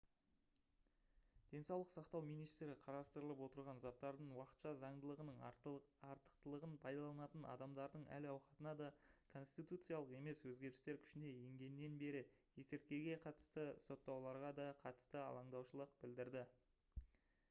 денсаулық сақтау министрі қарастырылып отырған заттардың уақытша заңдылығының артықлығын пайдаланатын адамдардың әл-ауқатына да конституциялық емес өзгерістер күшіне енгеннен бері есірткіге қатысты соттауларға да қатысты алаңдаушылық білдірді